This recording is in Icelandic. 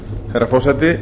herra forseti